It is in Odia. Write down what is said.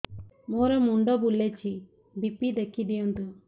ମୋର ମୁଣ୍ଡ ବୁଲେଛି ବି.ପି ଦେଖି ଦିଅନ୍ତୁ